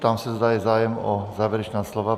Ptám se, zda je zájem o závěrečná slova.